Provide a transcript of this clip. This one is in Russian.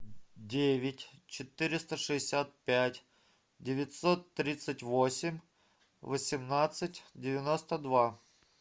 девять четыреста шестьдесят пять девятьсот тридцать восемь восемнадцать девяносто два